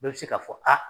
Bɛɛ bɛ se k'a fɔ a